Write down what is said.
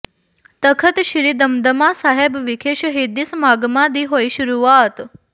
ਤਖਤ ਸ੍ਰੀ ਦਮਦਮਾ ਸਾਹਿਬ ਵਿਖੇ ਸ਼ਹੀਦੀ ਸਮਾਗਮਾਂ ਦੀ ਹੋਈ ਸ਼ੁਰੂਆਤ